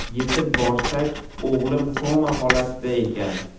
Yetib borsak, o‘g‘lim koma holatida ekan.